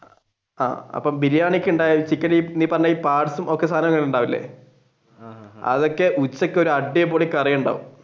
ആഹ് അപ്പൊ ബിരിയാണിക്ക് ചിക്കൻ നീ പറഞ്ഞ ഈ parts ഒക്കെ സാധനങ്ങൾ ഉണ്ടാവൂലെ അതൊക്കെ ഉച്ചക്ക് ഒരു അടിപൊളി കറിയുണ്ടാവും.